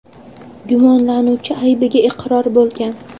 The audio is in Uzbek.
Gumonlanuvchi aybiga iqror bo‘lgan.